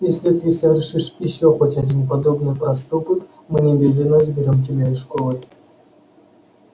если ты совершишь ещё хоть один подобный проступок мы немедленно заберём тебя из школы